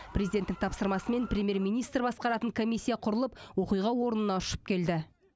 президенттің тапсырмасымен премьер министр басқаратын комиссия құрылып оқиға орнына ұшып келді